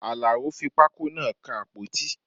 Alao fi pákó náà kan àpótí